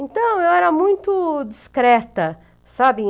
Então, eu era muito discreta, sabe?